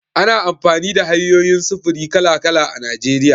Ana amfani da hanyoyin sufuri kala-kala a Najeriya.